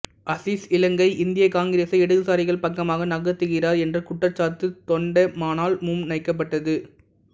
அசீஸ் இலங்கை இந்திய காங்கிரசை இடதுசாரிகள் பக்கமாக நகர்த்துகிறார் என்ற குற்றச்சாட்டு தொண்டமானால் முன்வைக்கப்பட்டது